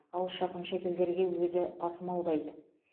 алыс жақын шетелдерге өзі тасымалдайды